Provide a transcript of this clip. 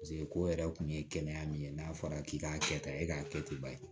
Paseke ko yɛrɛ kun ye kɛnɛya min ye n'a fɔra k'i k'a kɛ tan e k'a kɛ ten ba ye